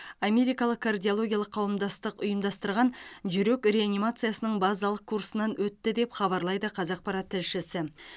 америкалық кардиологиялық қауымдастық ұйымдастырған жүрек реанимациясының базалық курсынан өтті деп хабарлайды қазақпарат тілшісі